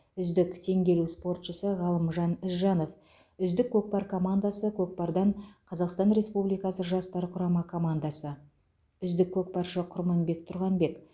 үздік теңге ілу спортшысы ғалымжан ізжанов үздік көкпар командасы көкпардан қазақстан республикасы жастар құрама командасы үздік көкпаршы құрманбек тұрғанбек